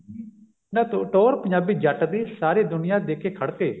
ਨਾ ਤੂੰ ਟੋਹਰ ਪੰਜਾਬੀ ਜੱਟ ਦੀ ਸਾਰੀ ਦੁਨਿਆ ਦੇਖੇ ਖੜਕੇ